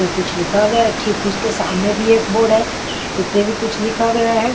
कुछ लिखा गया है ठीक उसके सामने भी एक बोर्ड है उस पे भी कुछ लिखा गया है।